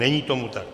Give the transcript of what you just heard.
Není tomu tak.